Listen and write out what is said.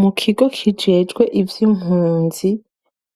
Mukigo kijejewe ivy'impunzi